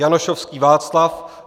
Janošovský Václav